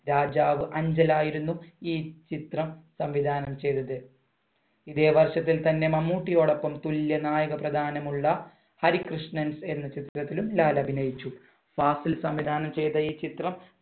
രാജാവ് അഞ്ചൽ ആയിരുന്നു ഈ ചിത്രം സംവിധാനം ചെയ്തത്. ഇതേ വർഷത്തിൽ തന്നെ മമ്മൂട്ടിയോടൊപ്പം തുല്യ നായക പ്രാധാന്യമുള്ള ഹരികൃഷ്ണൻസ് എന്ന ചിത്രത്തിലും ലാൽ അഭിനയിച്ചു. ഫാസിൽ സംവിധാനം ചെയ്ത ഈ ചിത്രം